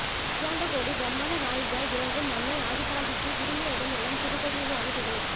அகிலாண்ட கோடி பிரமாண்ட நாயகியாய் விளங்கும் அன்னை ஆதிபராசக்தி திரும்பிய இடமெல்லாம் திருக்கோவில்களாகத் திகழும்